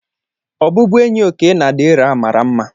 Ọbụbụenyi Okey na Dera mara mma.